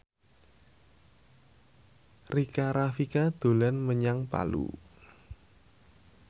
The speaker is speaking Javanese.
Rika Rafika dolan menyang Palu